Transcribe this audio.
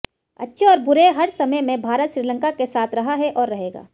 अच्छे और बुरे हर समय में भारत श्रीलंका के साथ रहा है और रहेगा